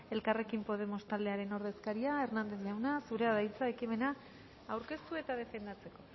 elkarrekin podemos taldearen ordezkaria hernández jauna zurea da hitza ekimena aurkeztu eta defendatzeko